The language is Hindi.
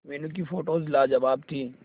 मीनू की फोटोज लाजवाब थी